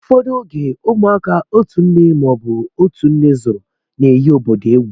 Ụfọdụ oge, ụmụaka otu nne ma ọ bụ otú nne zúru na-eghi obodo egwú